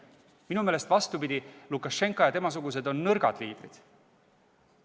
Minu meelest on vastupidi – Lukašenka ja teised temasugused on nõrgad liidrid.